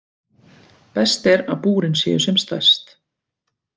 Best er að búrin séu sem stærst.